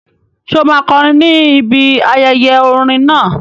Ṣé o máa kọrin ní ibi ayẹyẹ orin náà?